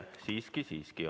Siiski, siiski.